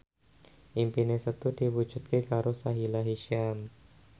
impine Setu diwujudke karo Sahila Hisyam